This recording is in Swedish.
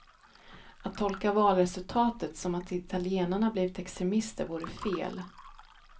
Att tolka valresultatet som att italienarna blivit extremister vore fel.